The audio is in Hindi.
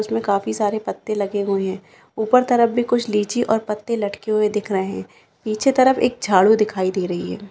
इसमे काफी सारे पत्ते लगे हुए है ऊपर की तरफ भी कुछ लीची और पत्ते लटके हुए दिख रहे है पीछे तरफ एक झाड़ू दिखाई दे रही है।